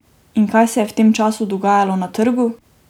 In kaj se je v tem času dogajalo na trgu?